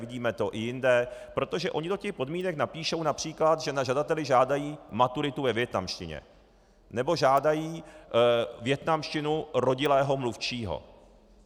Vidíme to i jinde, protože oni do těch podmínek napíší například, že na žadateli žádají maturitu ve vietnamštině, nebo žádají vietnamštinu rodilého mluvčího.